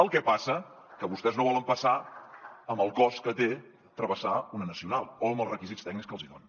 el que passa que vostès no volen passar amb el cost que té travessar una nacional o amb els requisits tècnics que els hi donen